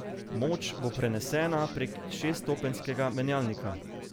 Moč bo prenesena prek šeststopenjskega menjalnika.